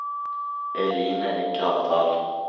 Eline Gravdal